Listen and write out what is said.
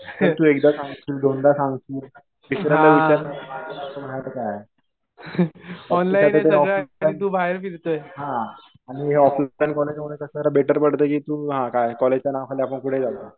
एकदा सांगशील. दोनदा सांगशील. तिसऱ्यांदा विचारणारच हे सारखं सारखं बाहेर काय आहे. हा. आणि ऑफलाईन बेटर पडतं कि तु हा काय कॉलजच्या नावाखाली आपण कुठंही जाऊ शकतो.